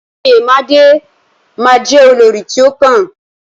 Oyemade ma jẹ olórí ti o kàn.